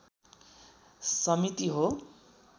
समिति हो।